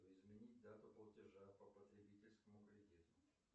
изменить дату платежа по потребительскому кредиту